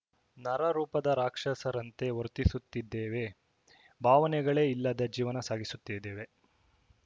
ನರ ರೂಪದ ರಾಕ್ಷಸರಂತೆ ವರ್ತಿಸುತ್ತಿದ್ದೇವೆ ಭಾವನೆಗಳೇ ಇಲ್ಲದ ಜೀವನ ಸಾಗಿಸುತ್ತಿದ್ದೇವೆ